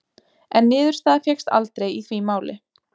En niðurstaða fékkst aldrei í því máli.